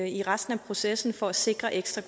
i resten af processen for at sikre ekstra